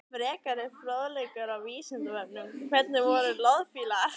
Frekari fróðleikur á Vísindavefnum: Hvernig voru loðfílar?